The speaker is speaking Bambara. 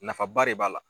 Nafaba de b'a la